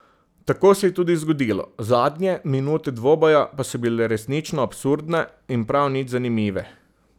Tako se je tudi zgodilo, zadnje minute dvoboja pa so bile resnično absurdne in prav nič zanimive.